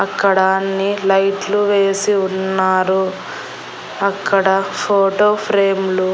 అక్కడ అన్ని లైట్లు వేసి ఉన్నారు అక్కడ ఫోటో ఫ్రేమ్ లు --